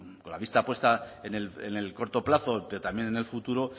con la vista puesta en el corto plazo pero también en el futuro